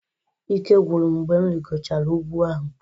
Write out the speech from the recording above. Ike gwụrụ m mgbe m rigochara ugwu ahụ.